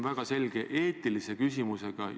Lugupeetud peaminister!